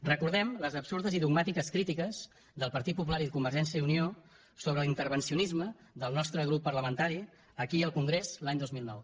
recordem les absurdes i dogmàtiques crítiques del partit popular i de convergència i unió sobre l’intervencionisme del nostre grup parlamentari aquí i al congrés l’any dos mil nou